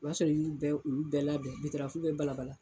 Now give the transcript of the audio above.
O b'a sɔrɔ, i y'u bɛɛ, olu bɛɛ labɛn bɛ balabala